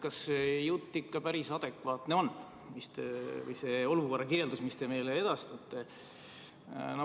Kas see jutt on ikka päris adekvaatne või see olukorra kirjeldus, mida te meile edastate?